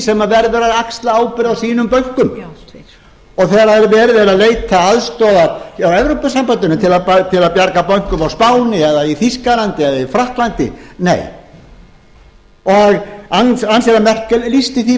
sem verður að axla ábyrgð á sínum bönkum og þegar verið er að leita aðstoðar hjá evrópusambandinu til að bjarga bönkum á spáni eða í þýskalandi eða í frakklandi nei angela merkel lýsti því bara